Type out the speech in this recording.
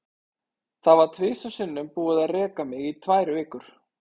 Það var tvisvar sinnum búið að reka mig í tvær vikur.